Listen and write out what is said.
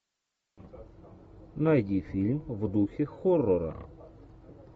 найди фильм в духе хоррора